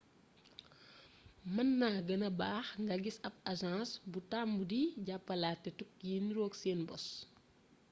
mën na gënna baax nga gis ab aseng bu tàmm di jàppalaate tukki yi niroog seen bos